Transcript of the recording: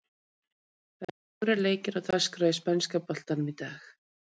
Það eru fjórir leikir á dagskrá í spænska boltanum í dag.